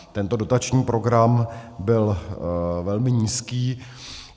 Tento dotační program byl velmi nízký.